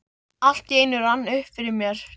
Allt í einu rann það upp fyrir mér.